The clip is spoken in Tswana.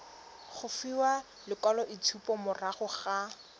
go fiwa lekwaloitshupo morago ga